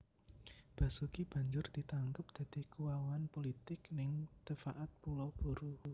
Basuki banjur ditangkep dadi kuwawan pulitik ning Tefaat Pulau Buru